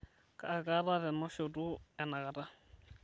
kaa kata tenashoto enakata